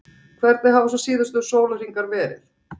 Hvernig hafa svo síðustu sólarhringar verið?